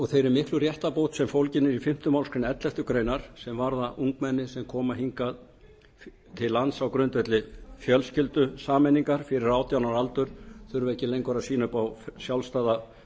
og þeirri miklu réttarbót sem fólgin er í fimmta málsgrein elleftu greinar sem varða ungmenni sem koma hingað til lands á grundvelli fjölskyldusameiningar fyrir átján ára aldur þurfi ekki lengur að sýna fram á sjálfstæða